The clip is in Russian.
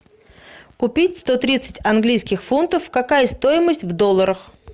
купить сто тридцать английских фунтов какая стоимость в долларах